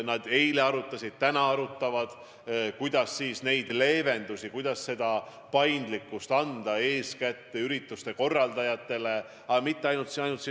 Nad eile arutasid ja ka täna arutavad, kuidas olukorda leevendada, kuidas võimaldada paindlikkust eeskätt ürituste korraldajatele, ja mitte ainult siin Eestis.